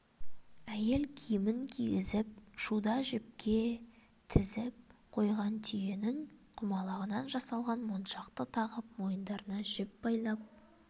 әйел киімін кигізіп шуда жіпке тізіп қойған түйенің құмалағынан жасалған моншақты тағып мойындарына жіп байлап